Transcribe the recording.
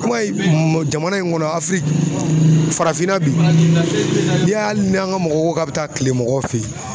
I b'a ye m jamana in kɔnɔ afiriki farafinna bi n'i y'a ye ali ni an ka mɔgɔ ko k'a bi taa kile mɔgɔw fe yen